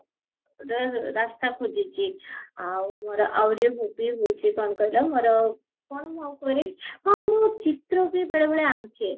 ରେ ରାସ୍ତା ଖୋଜିଚି ଆଉ ମୋର ଆହୁରି ବି ହଉଚି କଣ କହିଲ ମୋର କଣ ମୁଁ ଆଉ କରେ ହଁ ମୁଁ ଚିତ୍ର ବି ବେଳେ ବେଳେ ଆଙ୍କେ